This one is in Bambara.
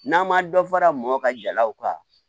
N'an ma dɔ fara mɔ ka jalaw ka